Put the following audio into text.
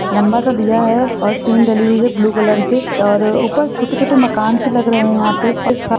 लम्बा सा दिया है और टीन डाली हुई है ब्लू कलर से और ऊपर छोटे छोटे मकान से लग रहे है यहाँ पे और एक--